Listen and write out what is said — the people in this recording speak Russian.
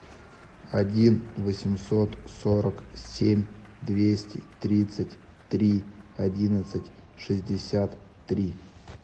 один восемьсот сорок семь двести тридцать три одиннадцать шестьдесят три